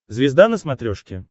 звезда на смотрешке